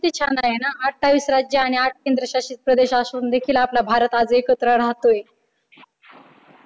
किती छान आहे ना अठ्ठावीस राज्य आणि आठ केंद्रशासित प्रदेश असून देखील आपला भारत आज एकत्र राहतोय.